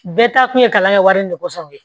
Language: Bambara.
Bɛɛ ta kun ye kalan kɛ wari in de kɔsɔn ye